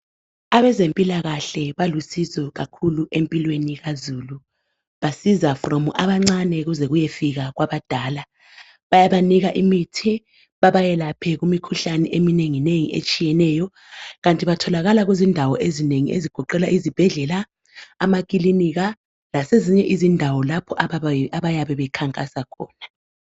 Abezempilakahle balusizo kakhulu empilweni kazulu. Basiza from abancane kuze kuyefika kwabadala. Bayabanika imithi babayelaphe kumikhuhlane eminenginengi etshiyeneyo, Kanti batholakala kuzindawo ezinengi ezigoqela izibhedlela , amakilinika lasezinye izindawo lapho abayabe bekhankasa khona.